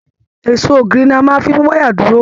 Èsó ògiri ní a fí máa n mú wayà dúró.